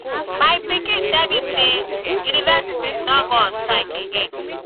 my pikin tell me say universities don go on strike again